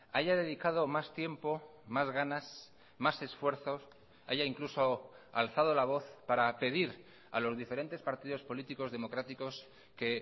haya dedicado más tiempo más ganas más esfuerzos haya incluso alzado la voz para pedir a los diferentes partidos políticos democráticos que